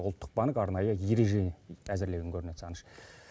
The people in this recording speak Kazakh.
ұлттық банк арнайы ереже әзірлеген көрінеді сағыныш